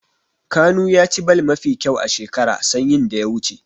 Kanu ya ci ball mafi kyau a shekara sanyin da ya wuce.